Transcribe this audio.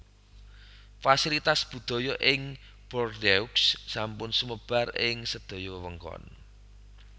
Fasilitas budaya ing Bordeaux sampun sumebar ing sedaya wewengkon